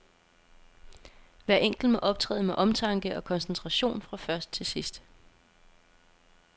Hver enkelt må optræde med omtanke og koncentration fra først til sidst.